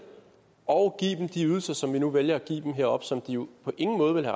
og give dem de ydelser som vi nu vælger at give dem heroppe som de jo på ingen måde ville